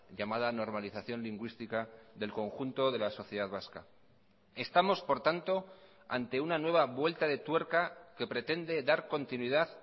llamada normalización lingüística del conjunto de la sociedad vasca estamos por tanto ante una nueva vuelta de tuerca que pretende dar continuidad